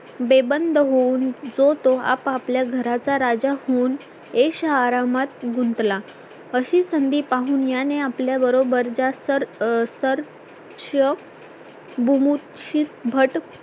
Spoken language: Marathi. बेबंद होऊन जो तो आपापल्या घराचा राजा होऊन ऐशआरामात गुंतला अशी संधि पाहून याने आपल्याबरोबर जास्त विभूषित भट